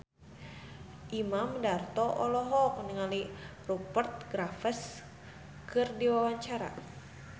Imam Darto olohok ningali Rupert Graves keur diwawancara